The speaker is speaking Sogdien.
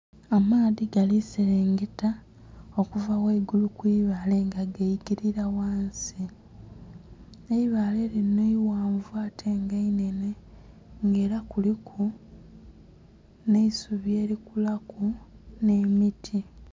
Amaadhi gali selengeta okuva ghaigulu kwiibale nga gakilila ghansi, eibale linho ighanvu ate inhenhe nga era kuliku nhe isubi eli kulaku nhe miti.